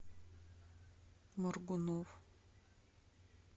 моргунов